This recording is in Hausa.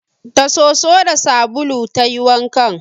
Da soso da sabulu ta yi wankan